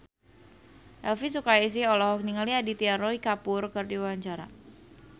Elvy Sukaesih olohok ningali Aditya Roy Kapoor keur diwawancara